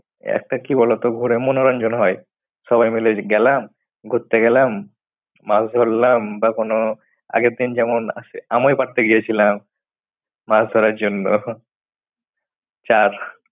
একটা কি বলো তো ঘুরে মনোরঞ্জন হয়। সবাই মিলে গেলাম, ঘুরতে গেলাম মাছ ধরলাম বা কোনো আগের দিন যেমন আছ~ আমও পাড়তে গিয়েছিলাম। মাছ ধরার জন্য। চার